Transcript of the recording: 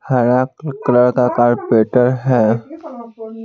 हरा कल-- कलर का कार्परेट है।